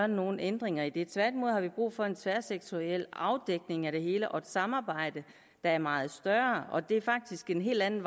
nogle ændringer i det tværtimod har vi brug for en tværsektoriel afdækning af det hele og et samarbejde der er meget større og det er faktisk en helt anden